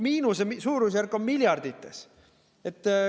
Miinuse suurusjärk on miljardites.